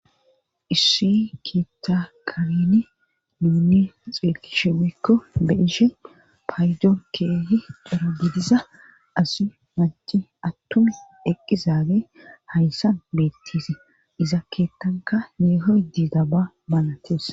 Issi keeakalini minni xeerkishiwekko be ishe paydon keehi xoro bidiza asi manci attun eqqizaabe hayssa bettise iza keettanka yeeho dida ba manatees.